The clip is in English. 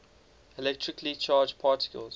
electrically charged particles